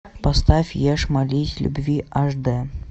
поставь ешь молись люби аш д